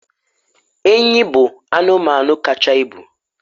enyi bụ anụmanụ kacha ibu